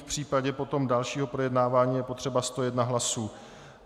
V případě potom dalšího projednávání je potřeba 101 hlasů.